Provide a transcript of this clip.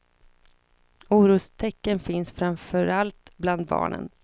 Orostecken finns framför allt bland barnen.